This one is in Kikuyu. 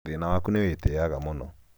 thĩna waku nĩ atĩ nĩwĩtĩĩaga mũno